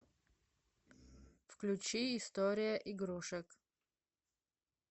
включи история игрушек